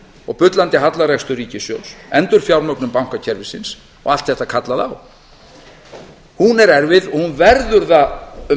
og bullandi hallarekstur ríkissjóðs endurfjármögnun bankakerfisins og allt þetta kallaði á hún er erfið og hún verður það um